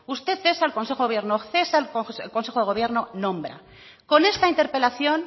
usted es el consejero del gobierno cesa al consejo del gobierno nombra con esta interpelación